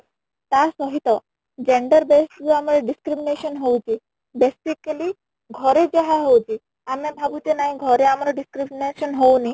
ତା ସହିତ gender base କୁ ଆମର discrimination ହଉଚି basically ଘରେ ଯାହା ହଉଚି ଆମେ ଭାବୁଛେ ନାଇଁ ଘରେ ଆମର discrimination ହଉନି